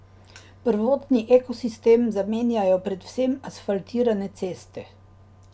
Prvotni ekosistem zamenjajo predvsem asfaltirane ceste.